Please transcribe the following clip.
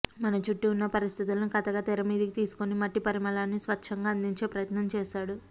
మన చుట్టూ ఉన్న పరిస్థితులను కథగా తెర మీదికి తీసుకుని మట్టి పరిమళాన్ని స్వచ్ఛంగా అందించే ప్రయత్నం చేశాడు